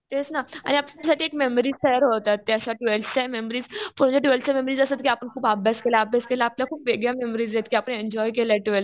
तेच ना आणि आपल्यासाठी एक मेमरीज तयार होतात. त्या अशा ट्वेल्थच्या मेमरीज म्हणजे ट्वेल्थच्या मेमरीज असतात कि आपण खूप अभ्यास केला. आपल्या खूप वेगळ्या मेमरीज आहेत कि आपण एन्जॉय केलं ट्वेल्थ.